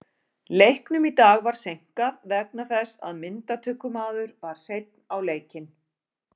Leiknum í dag var seinkað vegna þess að myndatökumaður var seinn á leikinn.